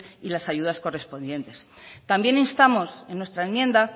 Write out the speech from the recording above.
y las ayudas correspondientes también instamos en nuestra enmienda